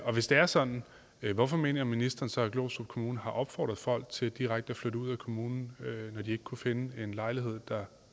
og hvis det er sådan hvorfor mener ministeren så at glostrup kommune har opfordret folk til direkte at flytte ud af kommunen når de ikke kunne finde en lejlighed der